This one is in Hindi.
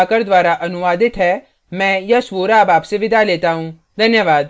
यह स्क्रिप्ट प्रभाकर द्वारा अनुवादित है मैं यश वोरा अब आपसे विदा लेता हूँ धन्यवाद